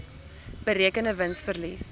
berekende wins verlies